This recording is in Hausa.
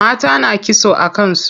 Mata na kitso a kan su.